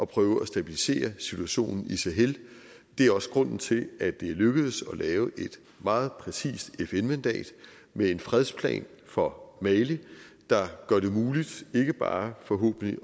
prøve at stabilisere situationen i sahel det er også grunden til at det er lykkedes at lave et meget præcist fn mandat med en fredsplan for mali der gør det muligt ikke bare forhåbentlig